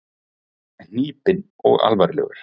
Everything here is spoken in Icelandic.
Hnípinn og alvarlegur.